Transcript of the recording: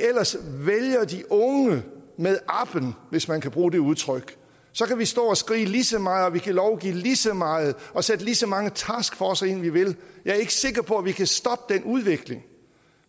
ellers vælger de unge med appen hvis man kan bruge det udtryk så kan vi stå og skrige ligeså meget og vi kan lovgive ligeså meget og sætte ligeså mange taskforcer ind vi vil jeg er ikke sikker på at vi kan stoppe den udvikling